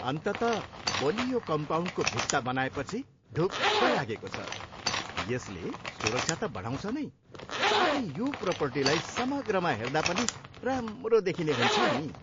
अन्ततः बलियो कम्पाउन्डको भित्ता बनाएपछि ढुक्क लागेको छ, यसले सुरक्षा त बढाउँछ नै साथै यो प्रोपर्टीलाई समग्रमा हेर्दा पनि राम्रो देखिने हुन्छ नि।